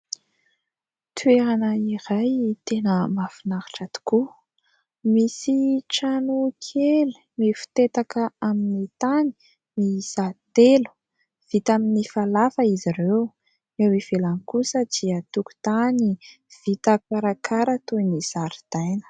Toerana iray tena mahafinaritra tokoa. Misy tranokely mifotetaka amin'ny tany miisa telo, vita amin'ny falafa izy ireo. Eo ivelany kosa dia tokotany vita karakara toy ny zaridaina.